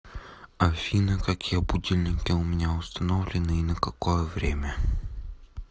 афина какие будильники у меня установлены и на какое время